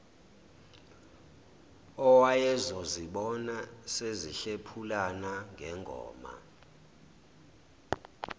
owayezozibona sezihlephulana ngengoma